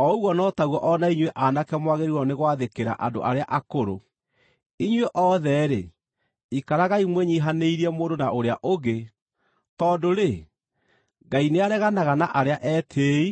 O ũguo no taguo o na inyuĩ aanake mwagĩrĩirwo nĩ gwathĩkĩra andũ arĩa akũrũ. Inyuĩ othe-rĩ, ikaragai mwĩnyiihanĩirie mũndũ na ũrĩa ũngĩ, tondũ-rĩ, “Ngai nĩareganaga na arĩa etĩĩi